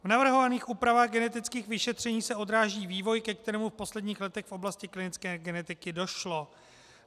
V navrhovaných úpravách genetických vyšetření se odráží vývoj, ke kterému v posledních letech v oblasti klinické genetiky došlo.